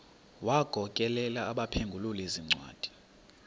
wagokelela abaphengululi zincwadi